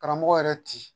Karamɔgɔ yɛrɛ ti